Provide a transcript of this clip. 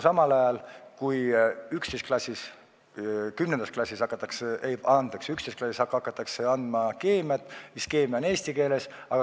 Aga 11. klassis hakatakse andma keemiat eesti keeles.